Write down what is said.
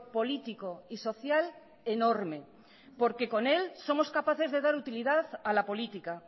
político y social enorme porque con él somos capaces de dar utilidad a la política